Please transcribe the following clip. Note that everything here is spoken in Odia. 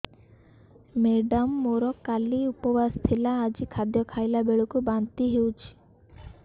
ମେଡ଼ାମ ମୋର କାଲି ଉପବାସ ଥିଲା ଆଜି ଖାଦ୍ୟ ଖାଇଲା ବେଳକୁ ବାନ୍ତି ହେଊଛି